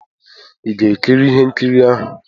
ị ga-ekiri ihe nkiri ahụ?